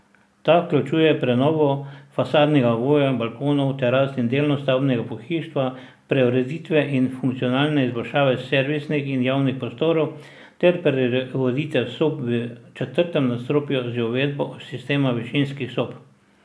Ta vključuje prenovo fasadnega ovoja, balkonov, teras in delno stavbnega pohištva, preureditve in funkcionalne izboljšave servisnih in javnih prostorov ter preureditev sob v četrtem nadstropju z uvedbo sistema višinskih sob.